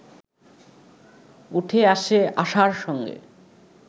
উঠে আসে আশার সঙ্গে